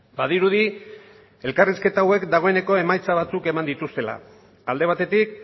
badirudi elkarrizketa hauek dagoeneko emaitza batzuk eman dituztela alde batetik